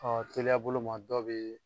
teliya boloma dɔ bɛ